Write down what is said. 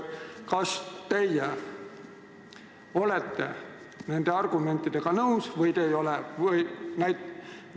Kas te olete nende argumentidega nõus või ei ole?